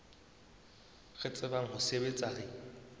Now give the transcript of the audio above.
re tsebang ho sebetsa re